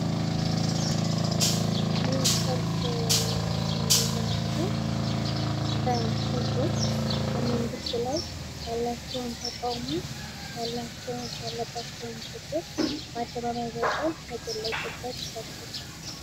ይህ ሰልፍ የሚያመለክተው በህዝቦች በመንግስቱ ላይ ያላቸውን ተቃውሞ ያለባቸውን ችግር ባደባባይ ወተው የገለፁበት ሰልፍ ነው።